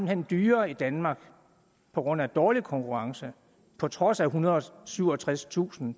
hen dyrere i danmark på grund af dårlig konkurrence på trods af ethundrede og syvogtredstusind